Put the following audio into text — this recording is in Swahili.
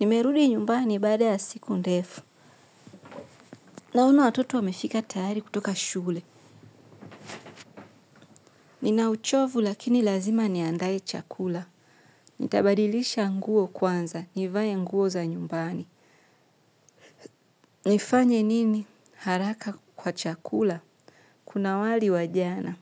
Nimerudi nyumbani baada ya siku ndefu. Naona watoto wamefika tayari kutoka shule. Nina uchovu lakini lazima niandae chakula. Nitabadilisha nguo kwanza nivae nguo za nyumbani. Nifanye nini haraka kwa chakula? Kuna wali wa jana